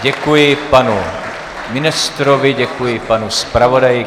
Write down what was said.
Děkuji panu ministrovi, děkuji panu zpravodaji.